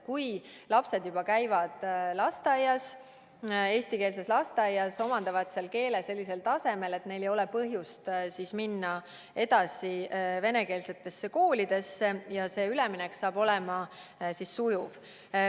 Kui lapsed käivad juba eestikeelses lasteaias, omandavad seal keele sellisel tasemel, et neil ei ole põhjust minna edasi venekeelsesse kooli, siis on üleminek sujuv.